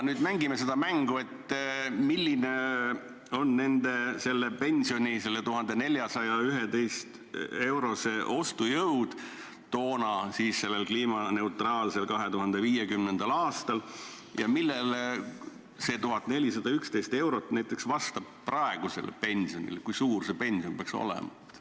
Aga mängime seda mängu, et arvutame, milline on selle 1411 euro ostujõud sellel kliimaneutraalsel 2050. aastal ja millisele praegusele summale see 1411 eurot vastab.